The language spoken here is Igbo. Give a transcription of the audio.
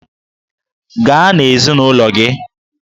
Gaa na ezinụlọ gị!